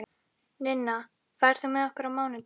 Ninna, ferð þú með okkur á mánudaginn?